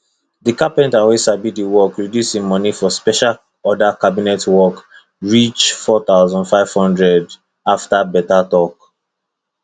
the carpenter wey sabi the work reduce him money for special order cabinet work reach 4500 after better talk